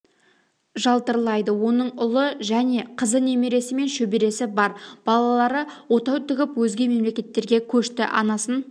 жалтырлайды оның ұлы және қызы немересі мен шөбересі бар балалары отау тігіп өзге мемлекеттерге көшті анасын